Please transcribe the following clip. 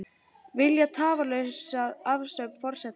Vilja tafarlausa afsögn forsetans